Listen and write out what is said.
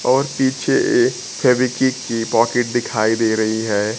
और पीछे फेवीक्विक की पॉकेट दिखाई दे रही है।